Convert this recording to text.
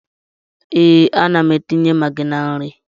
Ee, ana m etinye magị na nri.